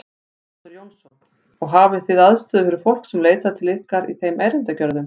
Sighvatur Jónsson: Og hafið þið aðstöðu fyrir fólk sem leitar til ykkar í þeim erindagerðum?